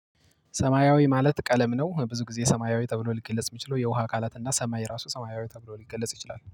ሰማያዊ ማለት ቀለም ነው። ብዙ ጊዜ ሰማያዊ ተብሎ ሊገለጽ የሚችለው የውሃ አካላት እና ሰማይ ራሱ ሰማያዊ ተብሎ ሊገለጽ ይችላል